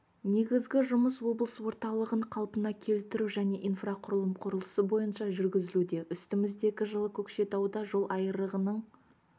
негізгі жұмыс облыс орталығын қалпына келтіру жне инфрақұрылым құрылысы бойынша жүргізілуде үстіміздегі жылы көкшетауда жол айрығының